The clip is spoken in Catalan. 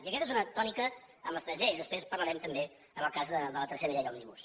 i aquesta és una tònica en les tres lleis després en parlarem també en el cas de la tercera llei òmnibus